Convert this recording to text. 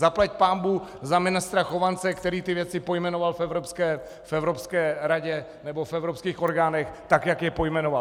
Zaplať pánbůh za ministra Chovance, který ty věci pojmenoval v Evropské radě nebo v evropských orgánech tak, jak je pojmenoval.